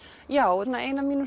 já ein af mínum